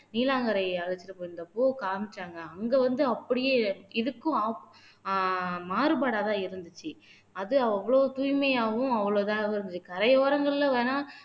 நீலாங்கரையை அழைச்சிட்டு போயிருந்தப்போ காமிச்சாங்க அங்க வந்து அப்படியே இதுக்கும் opp மாறுபாடாதான் இருந்துச்சு அது அவ்ளோ தூய்மையாவும் அவ்ளோ இதாவும் இருந்து கரையோரங்கள்ல வேணா